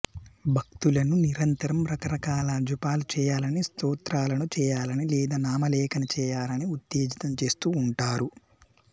భక్తులను నిరంతరం రకరకాల జపాలు చేయాలని స్తోత్రాలను చేయాలని లేదా నామలేఖన చేయాలని ఉత్తేజితం చేస్తూ ఉంటారు